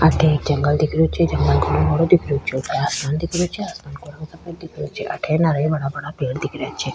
अठे एक जंगल दिख रियो छे जंगल दिख रियो छे ऊपर आसमान दिख रियो छे आसमान का रंग सफ़ेद दिख रियो छे अठे बड़ा बड़ा पेड़ दिख रह्या छे।